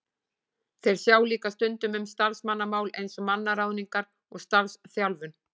Þeir sjá líka stundum um starfsmannamál eins og mannaráðningar og starfsþjálfun.